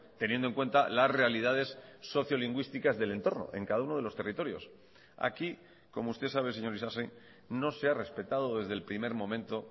teniendo en cuenta las realidades sociolingüísticas del entorno en cada uno de los territorios aquí como usted sabe señor isasi no se ha respetado desde el primer momento